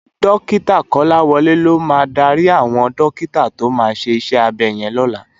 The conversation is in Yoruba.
Dòkitá Kolawole ló má dàri áwòn dòkitá tó má ṣé iṣè ábè yèn lòlá